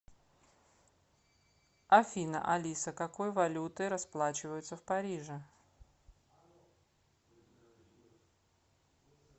афина алиса какой валютой расплачиваются в париже